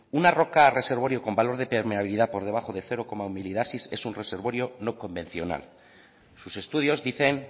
una roca reservorio con valor de permeabilidad por debajo de cero coma uno milidarcys es un reservorio no convencional sus estudios dicen